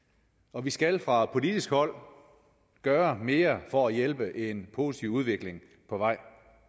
og vi skal fra politisk hold gøre mere for at hjælpe en positiv udvikling på vej